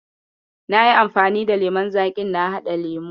Nayi anfani da lemon zaƙin na haɗa lemo.